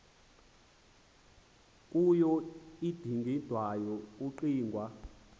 kuyo udingindawo kukucinga